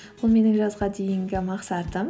ол менің жазға дейінгі мақсатым